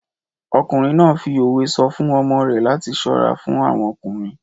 Ọkùnrin náà fi òwe sọ fún ọmọ rẹ̀ láti ṣọ́ra fún àwọn ọkùnrin.